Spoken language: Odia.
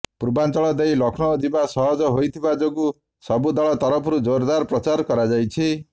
ପୂର୍ବାଚଂଳ ଦେଇ ଲକ୍ଷ୍ନୌ ଯିବା ସହଜ ହୋଇଥିବା ଯୋଗୁଁ ସବୁ ଦଳ ତରଫରୁ ଯୋରଦାର ପ୍ରଚାର କରାଯାଇଛି